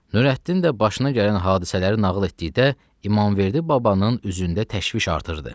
Nurəddin də başına gələn hadisələri nağıl etdikdə İmamverdi babanın üzündə təşviş artırdı.